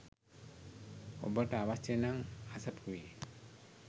ඔබට අවශ්‍ය නම් අසපුවේ